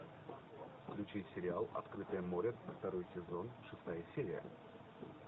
включи сериал открытое море второй сезон шестая серия